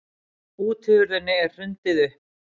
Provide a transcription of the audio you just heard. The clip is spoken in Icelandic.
Útihurðinni er hrundið upp.